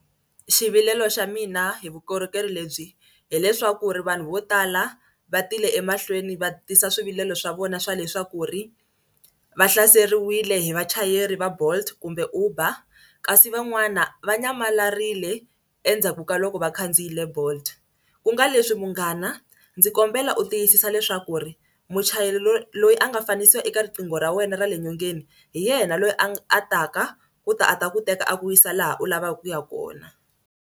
Xivilelo xa mina hi vukorhokeri lebyi hileswaku ri vanhu vo tala va tile emahlweni va tisa swivilelo swa vona swa leswaku ri va hlaseriwile hi vachayeri va Bolt kumbe Uber kasi van'wana va nyamalarile endzhaku ka loko va khandziyile bolt. Ku nga leswi munghana ndzi kombela u tiyisisa leswaku ri muchayeri loyi a nga fanisiwa eka riqingho ra wena ra le nyongeni hi yena loyi a a taka ku ta a ta ku teka a ku yisa laha u lavaka ku ya kona.